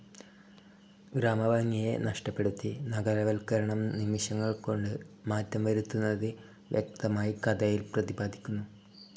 ഗ്രാമഭംഗിയെ നഷ്ടപ്പെടുത്തി നഗരവൽക്കരണം നിമിഷങ്ങൾ കൊണ്ട് മാറ്റം വരുത്തുന്നത് വ്യക്തമായി കഥയിൽ പ്രതിപാദിക്കുന്നു.